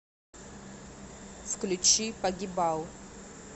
включи погибал